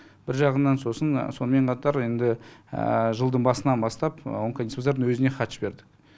бір жағынан сосын сонымен қатар енді жылдың басынан бастап онкодиспансердің өзіне хат жібердік